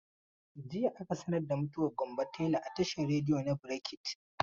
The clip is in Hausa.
Jiya aka sanar da mutuwar Gambo tela a tashar rediyo na brekete.